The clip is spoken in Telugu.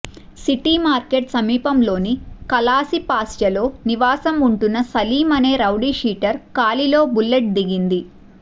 సిటి మార్కెట్ సమీపంలోని కలాసిపాళ్యలో నివాసం ఉంటున్న సలీం అనే రౌడీ షీటర్ కాలిలో బుల్లెట్ దిగింది